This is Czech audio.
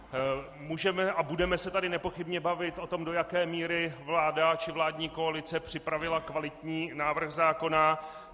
Můžeme a budeme se tady nepochybně bavit o tom, do jaké míry vláda či vládní koalice připravila kvalitní návrh zákona.